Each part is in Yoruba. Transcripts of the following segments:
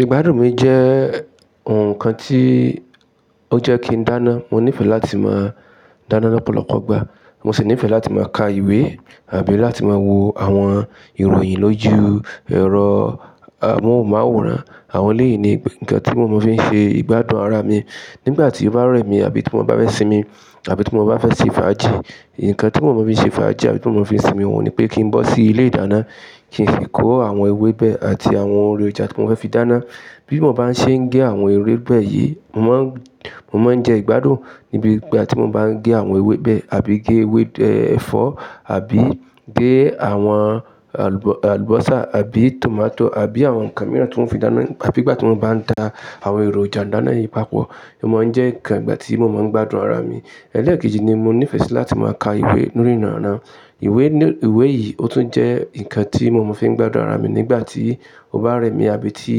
Ìgbádùn mi jẹ́ ǹkan tí ó jẹ́ kí n dáná, mo níìfẹ̀ láti máa dáná lọ́pọ̀lọpọ̀ ìgbà. Mo sì níìfẹ̀ láti máa ka ìwé àbí láti máa wo àwọn ìròyìn lójú ẹ̀rọ amóhùnmáwòrán. Àwọn léyìí ni ǹkan tí mo máa ń fi ṣe ìgbádùn ara mi. Nígbà tí ó bá rẹ̀ mí àbí tí mo bá fẹ́ sinmi àbí tí mo bá fẹ́ ṣe faaji ǹkan tí mo máa ń fi ṣe fáajì àbí tí mo máa ń fi sinmi òun ni pé kí n bọ́ sí ilé ìdáná, kí n si kó àwọn ewébẹ̀ àti àwọn èròjà tí mo fẹ́ fi dáná. Bí mo bá ṣe ń gé àwọn ewébẹ̀ yìí, mo máa ń jẹ ìgbádùn níbi ìgbà tí mo bá ń gé àwọn ewébẹ̀ àbí gé ewé ẹ̀fọ́ àbí gé àwọn àlùbọ́sà àbí tòmátò àbí àwọn ǹkan mìíràn tí ó fi dáná àbí ìgbà tí mo bá ń da àwọn èròjà dáná yìí papọ̀, ó máa ń jẹ́ ǹkan ìgbà tí mo máa ń gbádùn ara mi. Ẹ̀lẹ́ẹ̀kejì ni mo níìfẹ̀ sí láti máa ka ìwé nínú ríranran. Ìwé yìí ó tún jẹ́ ǹkan tí mo máa ń fi gbádùn ara mi nígbà tí ó bá rẹ̀ mí àbí tí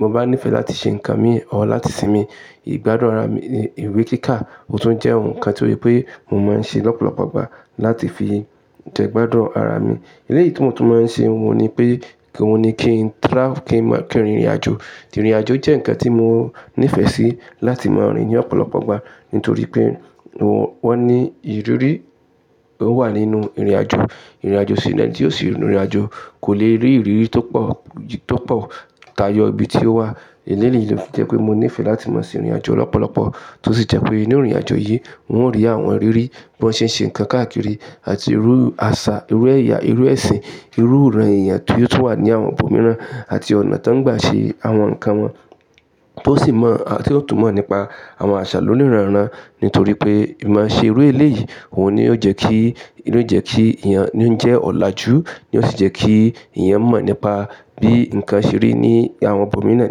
mo bá níìfẹ̀ láti ṣe ǹkan mi or láti sinmi. Ìgbádùn ara mi ni ìwé kíkà ó tún jẹ́ ohun kan tí ó yẹ pé mo máa ń ṣe lọ́pọ̀lọpọ̀ ìgbà láti fi jẹ́ gbádùn ara mi. Eléyìí tí mo tún máa ń ṣe òun ni pé kí n rìn ìrìnàjò. Ìrìnàjò jẹ́ ǹkan tí mo níìfẹ̀ sí láti máa rìn ní ọ̀pọ̀lọpọ̀ ìgbà nítorí pé wọ́n ní ìrírí ó wà nínú ìrìnàjò. Ìrìnàjò sílẹ̀ ni ó sì ń rìn ìrìnàjò kò lè rí ìrírí tó pọ̀ táyọ ibi tí ó wà. Eléyìí ló fi jẹ́ pé mo níìfẹ̀ láti máa ṣe ìrìnàjò lọ́pọ̀lọpọ̀ tó sì jẹ́ pé nínú ìrìnàjò yìí, wọn rí àwọn rírí bí wọ́n ṣe ń ṣe ǹkan káàkiri àti irú àṣà, irú ẹ̀yà, irú ẹ̀sìn, irú ìran èèyàn tí ó tún wà ní àwọn ibòmíràn àti ọ̀nà tó ń gbà ṣe àwọn ǹkan wọn. Tó sì mọ̀, tí ó tún mọ̀ nípa àwọn àṣà lóníranran nítorí pé ìma ṣe irú eléyìí òun ni ó jẹ́ kí ìyẹn ó jẹ́ ọ̀làjú ní ó sì jẹ́ kí ẹ̀yàn mọ̀ nípa bí ǹkan ṣe rí ní àwọn ibòmíràn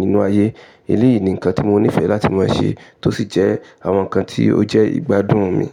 nínú ayé. Eléyìí ni ǹkan tí mo níìfẹ̀ láti máa ṣe tó sì jẹ́ àwọn ǹkan tí ó jẹ́ ìgbádùn mi.